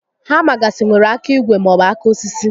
Hama gasị nwèrè áká ígwè maọbụ áká osisi